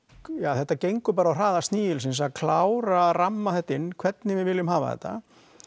þetta gengur bara á hraða snigilsins að ramma þetta inn hvernig við viljum hafa þetta